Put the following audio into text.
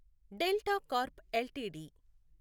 delta Corp LTD